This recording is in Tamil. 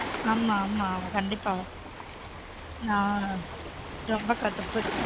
ஆமா ஆமா கண்டீப்பா நான் ரொம்ப கடுப்பு